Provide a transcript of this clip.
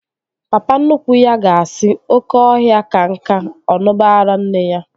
Papa nnukwu ya ga-asị, oké ọhịa ka nka, ọ ṅuba ara nne ya